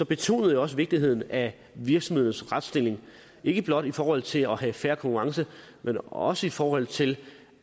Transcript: betonede jeg også vigtigheden af virksomhedens retsstilling ikke blot i forhold til at have fair konkurrence men også i forhold til